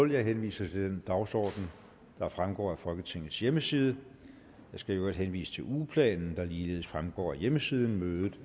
jeg henviser til den dagsorden der fremgår af folketingets hjemmeside jeg skal i øvrigt henvise til ugeplanen der ligeledes fremgår af hjemmesiden